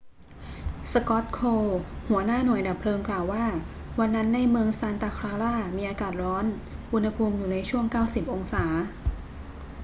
scott kouns หัวหน้าหน่วยดับเพลิงกล่าวว่า วันนั้นในเมืองซานตาคลารามีอากาศร้อน อุณหภูมิอยู่ในช่วง 90 องศา